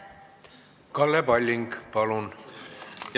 Kalle Palling, palun!